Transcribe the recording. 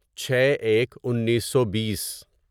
چھے ایک انیسو بیس